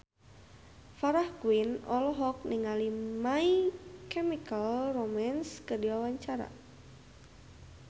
Farah Quinn olohok ningali My Chemical Romance keur diwawancara